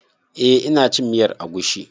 Eh ina cin miyar agushi.